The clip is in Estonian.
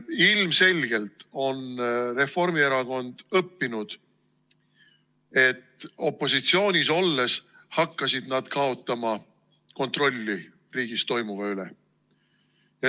Ilmselgelt on Reformierakond õppinud, et opositsioonis olles hakkasid nad kaotama kontrolli riigis toimuva üle.